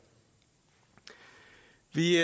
vi